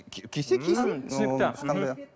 кисе кисін түсінікті